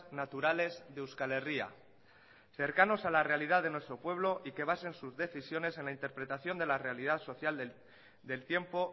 naturales de euskal herria cercanos a la realidad de nuestro pueblo y que basen sus decisiones en la interpretación de la realidad social del tiempo